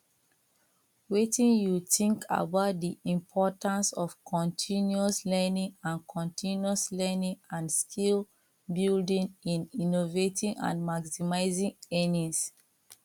wetin you know about di importance of continuous learning and continuous learning and skillbuilding in innovating and maximizing earnings